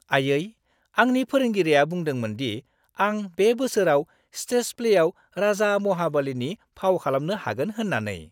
आइयै, आंनि फोरोंगिरिया बुंदोंमोन दि आं बे बोसोराव स्टेज प्लेआव राजा महाबलिनि फाव खालामनो हागोन होन्नानै।